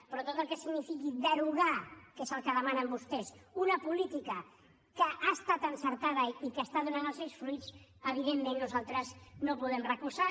però tot el que signifiqui derogar que és el que demanen vostès una política que ha estat encertada i que està donant els seus fruits evidentment nosaltres no ho podem recolzar